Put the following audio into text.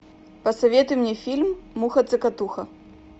посоветуй мне фильм муха цокотуха